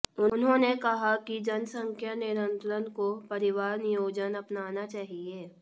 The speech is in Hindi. उन्होंने कहा कि जनसंख्या नियंत्रण को परिवार नियोजन अपनाना चाहिए